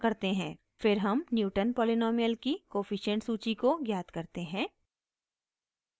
फिर हम Newton polynomial की कोफिशिएंट सूची को ज्ञात करते हैं